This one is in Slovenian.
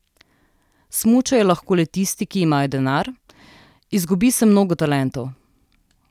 Smučajo lahko le tisti, ki imajo denar, izgubi se mnogo talentov.